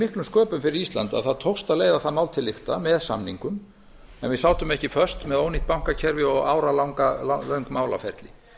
miklum sköpum fyrir ísland að það tókst að leiða það mál til lykta með samningum en við sátum ekki föst með ónýtt bankakerfi og áralöng málaferli